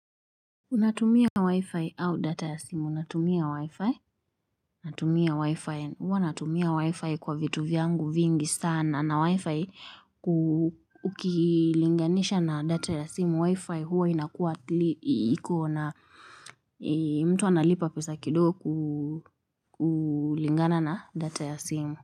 Unatumia wi-fi au data ya simu. Natumia wi-fi. Natumia wi-fi. Huwa natumia wi-fi kwa vitu vyangu vingi sana. Na wi-fi ukilinganisha na data ya simu wi-fi huwa inakuwa iko na mtu analipa pesa kidogo kulingana na data ya simu.